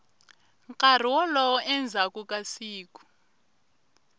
nkarhi wolowo endzhaku ka siku